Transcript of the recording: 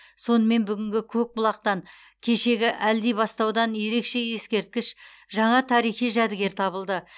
сонымен бүгінгі көкбұлақтан кешегі әлдибастаудан ерекше ескерткіш жаңа тарихи жәдігер табылды